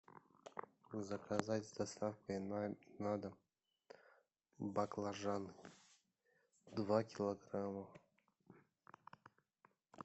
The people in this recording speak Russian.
заказать с доставкой на дом баклажаны два килограмма